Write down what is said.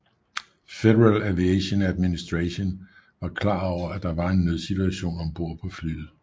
Federal Aviation Administration var klar over at der var en nødsituation om bord på flyet